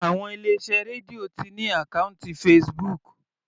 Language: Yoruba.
Àwọn ilé iṣẹ́ Radio ti ní àkọ́ùntì Facebook.